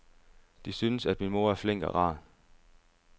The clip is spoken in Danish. De synes, at min mor er flink og rar.